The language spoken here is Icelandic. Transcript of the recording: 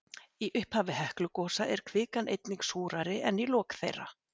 Í upphafi Heklugosa er kvikan einnig súrari en í lok þeirra.